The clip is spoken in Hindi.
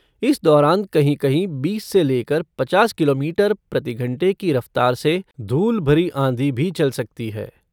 इस दौरान कहीं कहीं बीस से लेकर पचास किलोमीटर प्रति घंटे की रफ़्तार से धूल भरी आँधी भी चल सकती है।